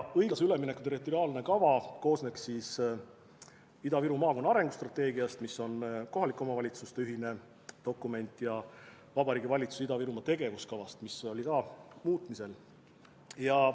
Õiglase ülemineku territoriaalne kava koosneks siis Ida-Viru maakonna arengustrateegiast, mis on kohalike omavalitsuste ühine dokument, ja Vabariigi Valitsuse Ida-Virumaa tegevuskavast, mis oli ka muutmisel.